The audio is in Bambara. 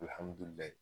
Alihamudulila